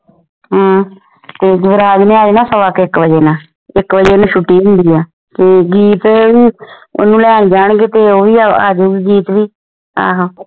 ਹਾਂ ਯੁਵਰਾਜ ਨੇ ਆ ਜਾਣਾ ਸਵਾ ਇਕ ਵਜੇ ਆਂ ਇਕ ਬਜੇ ਓਹਦੇ ਛੁਟੀ ਹੁੰਦੀ ਆ ਤੇ ਗੀਤ ਓਹਨੂੰ ਲੈਣ ਜਾਣਗੇ ਤੇ ਉਹ ਵੀ ਆ ਜਾਊਗੀ ਗੀਤ ਵੀ